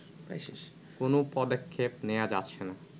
কোনো পদক্ষেপ নেয়া যাচ্ছে না